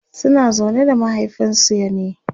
suna zaune da mahaifinsu ne?